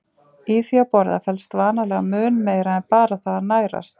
Í því að borða felst vanalega mun meira en bara það að nærast.